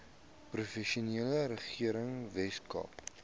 provinsiale regering weskaap